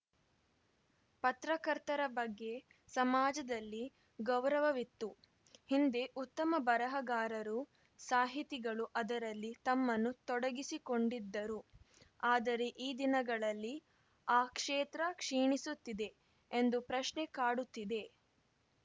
ಪತ್ರಕರ್ತರ ಬಗ್ಗೆ ಸಮಾಜದಲ್ಲಿ ಗೌರವವಿತ್ತು ಹಿಂದೆ ಉತ್ತಮ ಬರಹಗಾರರು ಸಾಹಿತಿಗಳು ಅದರಲ್ಲಿ ತಮ್ಮನ್ನು ತೊಡಗಿಸಿಕೊಂಡಿದ್ದರು ಆದರೆ ಈ ದಿನಗಳಲ್ಲಿ ಆ ಕ್ಷೇತ್ರ ಕ್ಷೀಣಿಸುತ್ತಿದೆ ಎಂದು ಪ್ರಶ್ನೆ ಕಾಡುತ್ತಿದೆ